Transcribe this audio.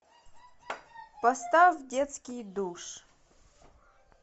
поставь детский душ